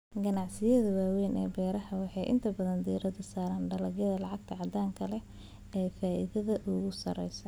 Ganacsiyada waaweyn ee beeraha waxay inta badan diirada saaraan dalagyada lacagta caddaanka ah ee leh faa'iidada ugu sareysa.